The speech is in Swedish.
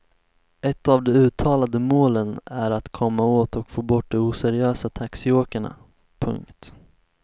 Ett av de uttalade målen är att komma åt och få bort de oseriösa taxiåkarna. punkt